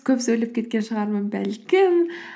көп сөйлеп кеткен шығармын бәлкім